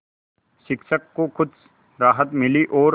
शिक्षक को कुछ राहत मिली और